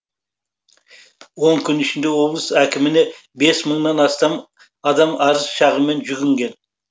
он күн ішінде облыс әкіміне бес мыңнан астам адам арыз шағыммен жүгінген